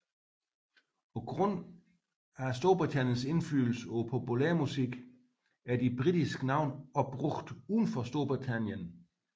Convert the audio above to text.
Grundet Storbritanniens indflydelse på populærmusikken er de britiske navne også brugt udenfor Storbritannien